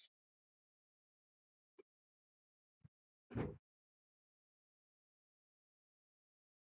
Konan hlær.